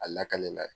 A lakalela ye